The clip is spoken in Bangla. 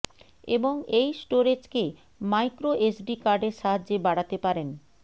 এবং এই স্টোরেজ কে মাইক্রোএসডি কার্ড এর সাহায্যে বাড়াতে পারেন